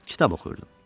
Kitab oxuyurdum.